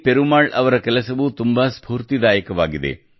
ಪೆರುಮಾಳ್ ಅವರ ಕೆಲಸವೂ ತುಂಬಾ ಸ್ಪೂರ್ತಿದಾಯಕವಾಗಿದೆ